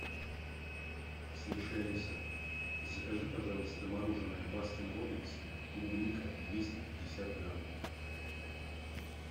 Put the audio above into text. слушай алиса закажи пожалуйста мороженое баскин робинс клубника двести пятьдесят грамм